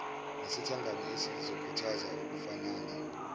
nesithangami esizokhuthaza ukufanana